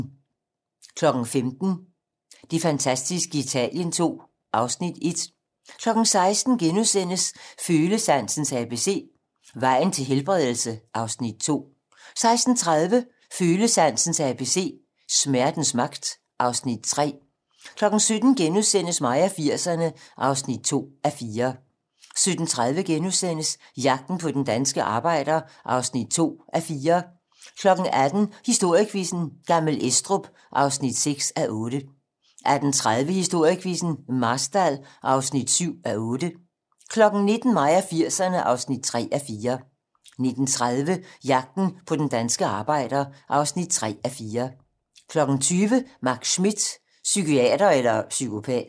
15:00: Det fantastiske Italien II (Afs. 1) 16:00: Følesansens ABC - Vejen til helbredelse (Afs. 2)* 16:30: Følesansens ABC - Smertens magt (Afs. 3) 17:00: Mig og 80'erne (2:4)* 17:30: Jagten på den danske arbejder (2:4)* 18:00: Historiequizzen: Gammel Estrup (6:8) 18:30: Historiequizzen: Marstal (7:8) 19:00: Mig og 80'erne (3:4) 19:30: Jagten på den danske arbejder (3:4) 20:00: Max Schmidt - psykiater eller psykopat